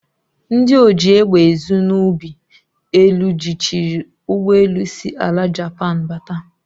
Ndi oji egbe ezu n'ugbi elu jichiri ugboelu si ala Japan bata.